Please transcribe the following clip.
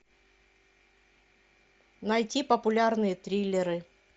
найти популярные триллеры